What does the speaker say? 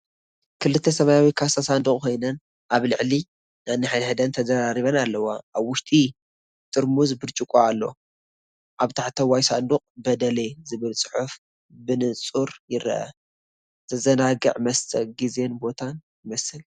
ክልተ ሰማያዊ ካሳሳንዱቕ ኮይነን፡ ኣብ ልዕሊ ነንሕድሕደን ተደራሪበን ኣለዋ። ኣብ ውሽጢ ጥርሙዝ ብርጭቆ ኣሎ። ኣብ ታሕተዋይ ሳጹን "BEDELE" ዝብል ጽሑፍ ብንጹር ይርአ። ዘዘናግዕ መስተዪ ግዜን ቦታን ይመስል፡፡